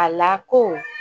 A lako